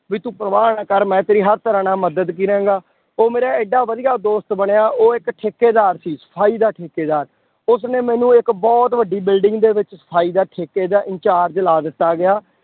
ਵੀ ਤੂੰ ਪਰਵਾਹ ਨਾ ਕਰ ਮੈਂ ਤੇਰੀ ਹਰ ਤਰ੍ਹਾਂ ਨਾਲ ਮਦਦ ਕਰਾਂਗਾ, ਉਹ ਮੇਰਾ ਇੱਡਾ ਵਧੀਆ ਦੋਸਤ ਬਣਿਆ ਉਹ ਇੱਕ ਠੇਕੇਦਾਰ ਸੀ, ਸਫ਼ਾਈ ਦਾ ਠੇਕੇਦਾਰ, ਉਸਨੇ ਮੈਨੂੰ ਇੱਕ ਬਹੁਤ ਵੱਡੀ building ਦੇ ਵਿੱਚ ਸਫ਼ਾਈ ਦਾ ਠੇਕੇ ਦਾ in charge ਲਾ ਦਿੱਤਾ ਗਿਆ